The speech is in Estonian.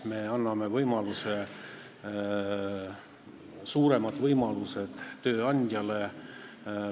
Me anname suuremad võimalused tööandjale.